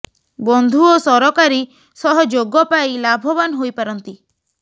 ବନ୍ଧୁ ଓ ସରକାରୀ ସହ ଯୋଗ ପାଇ ଲାଭବାନ ହୋଇପାରନ୍ତି